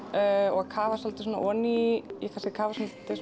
og að kafa svolítið svona ofan í ég er kannski að kafa svolítið